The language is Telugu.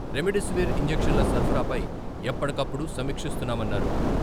రెమిడిసివిర్ ఇంజక్షన్ల సరఫరాపై ఎప్పటికప్పుడు సమీక్షిస్తున్నామన్నారు.